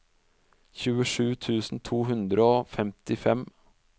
tjuesju tusen to hundre og femtifem